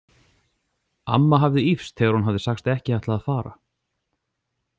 Amma hafði ýfst þegar hún hafði sagst ekki ætla að fara.